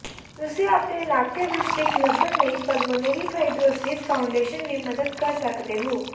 ਤੁਸੀ ਆਪਣੇ ਇਲਾਕੇ ਵਿੱਚ ਇੱਕ ਲੱਭਣ ਲਈ ਪੱਲਮੋਨੇਰੀ ਫਾਈਬਰੋਸਿਸ ਫਾਊਂਡੇਸ਼ਨ ਵੀ ਮਦਦ ਕਰ ਸਕਦੇ ਹੋ